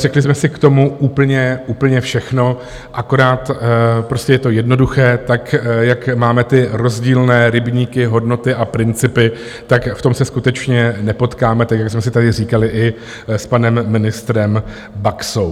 Řekli jsem si k tomu úplně všechno, akorát prostě je to jednoduché, tak jak máme ty rozdílné rybníky, hodnoty a principy, tak v tom se skutečně nepotkáme, tak jak jsme si tady říkali i s panem ministrem Baxou.